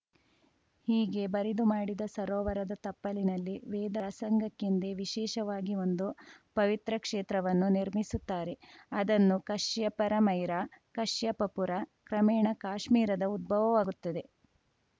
ಹೀಗೆ ಬರಿದು ಮಾಡಿದ ಸರೋವರದ ತಪ್ಪಲಿನಲ್ಲಿ ವೇದಸಂಗಕ್ಕೆಂದೇ ವಿಶೇಷವಾಗಿ ಒಂದು ಪವಿತ್ರ ಕ್ಷೇತ್ರವನ್ನು ನಿರ್ಮಿಸುತ್ತಾರೆಅದನ್ನು ಕಶ್ಯಪರ ಮೈರಾಕಶ್ಯಪ ಪುರಕ್ರಮೇಣ ಕಾಶ್ಮೀರದ ಉದ್ಭವವಾಗುತ್ತದೆ